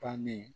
Bannen